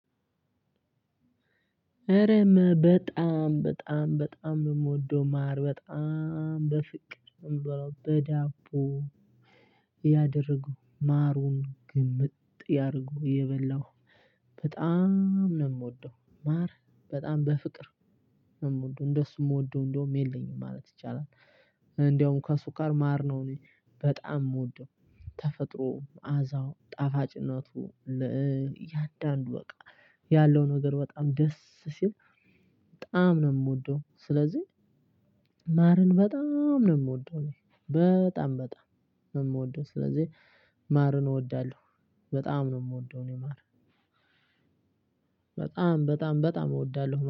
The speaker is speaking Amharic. እረም በጣም በጣም በጣም በምወደው ማር በጣም በፍቅር በዳቦ ያደረገው ማሩን ግምጥ ያደረገው የበላሁ በጣም ነው የምወደው ማር በጣም በፍቅር ነው የምወደው እንደሱ የምወደው እንደውም የለኝም ማለት ይቻላል። እንደውም ከሱካር ማር ነው በጣም የምወደው ተፈጥሮ አዛው ጣፋጭ እናቱ ለእያንዳንዱ በቃ ያለው ነገር በጣም ደስ ሲል በጣም ነው የምወደው። ስለዚህ ማርን በጣም ነው የምወደው በጣም በጣም ነው የምወደው ስለዚህ ማርን እወዳለሁ። በጣም ነው የምወደው እኔ ማር በጣም በጣም በጣም እወዳለሁ